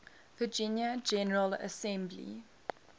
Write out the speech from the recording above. virginia general assembly